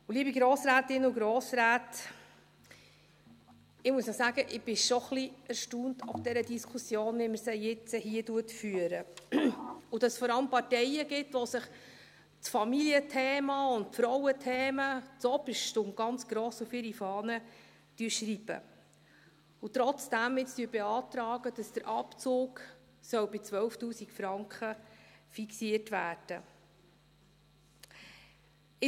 Liebe Grossrätinnen und Grossräte, ich muss auch sagen, ich bin schon ein bisschen erstaunt über diese Diskussion, so wie wir sie hier führen, dass es vor allem Parteien gibt, die sich das Familienthema und Frauenthemen zuoberst und ganz gross auf ihre Fahne schreiben und jetzt trotzdem beantragen, dass der Abzug bei 12’000 Franken fixiert werden soll.